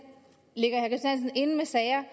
inde med sager er